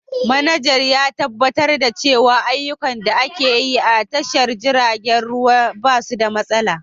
Manajan ya tabbatar da cewa ayyukan da ake yi a tashar jiragen ruwa ba su da matsala.